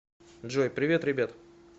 джой привет ребят